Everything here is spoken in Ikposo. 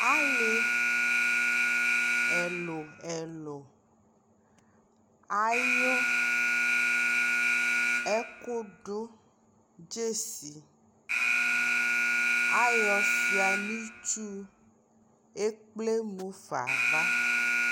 ali ɛlʋ ɛlʋ ayʋ ɛkʋdʋ gyɛsi, ayɔ sʋa nʋ itsʋ, ɛkplɛ mʋfa aɣa